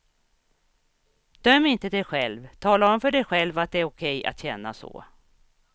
Döm inte dig själv, tala om för dig själv att det är okej att känna så.